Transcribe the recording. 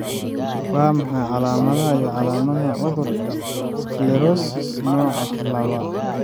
Waa maxay calaamadaha iyo calaamadaha cudurka sclerosis, nooca lawa?